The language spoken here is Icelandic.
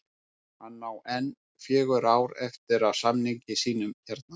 Hann á enn fjögur ár eftir af samningi sínum hérna